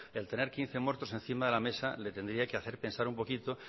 el tener quince muertos encima de la mesa le tendría que hacer pensar un poquito